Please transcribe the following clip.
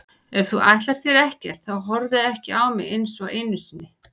Ef þú ætlar þér ekkert þá horfðu ekki á mig einsog einu sinni.